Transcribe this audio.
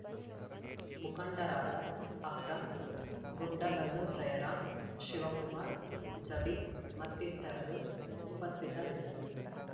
ಮುಖಂಡರಾದ ಅಕ್ರಂ ಗುಂಡಗಲ್ಲು ಜಯರಾಂ ಶಿವಕುಮಾರ್ ಜಬೀ ಮತ್ತಿತರರು ಉಪಸ್ಥಿತರಿದ್ದರು